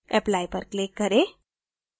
apply पर click करें